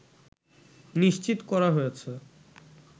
নিশ্চিত করা হয়েছে